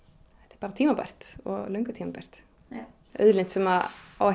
bara tímabært og löngu tímabært auðlind sem á ekki